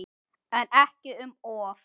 En ekki um of.